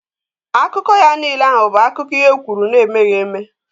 Akụkọ ya niile ahụ bụ akiko ihe e kwuru na emeghị eme